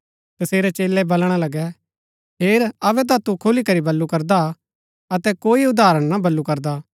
तसेरै चेलै बलणा लगै हेर अबै ता तू खुलीकरी बल्लू करदा हा अतै कोई उदाहरण ना बल्लू करदा